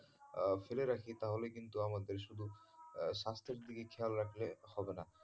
আহ ফেলে রাখি তাহলে কিন্তু আমাদের শুধু আহ স্বাস্থ্যের দিকে খেয়াল রাখলে হবে না।